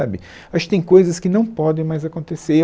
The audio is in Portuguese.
sabe, acho que tem coisas que não podem mais acontecer e